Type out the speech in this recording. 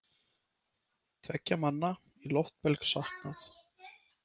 Tveggja manna í loftbelg saknað